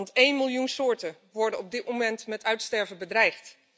Want één miljoen soorten worden op dit moment met uitsterven bedreigd.